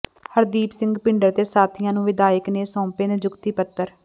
ਹਰਦੀਪ ਸਿੰਘ ਭਿੰਡਰ ਤੇ ਸਾਥੀਆਂ ਨੂੰ ਵਿਧਾਇਕ ਨੇ ਸੌਂਪੇ ਨਿਯੁਕਤੀ ਪੱਤਰ